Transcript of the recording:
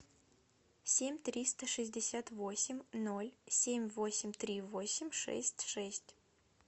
семь триста шестьдесят восемь ноль семь восемь три восемь шесть шесть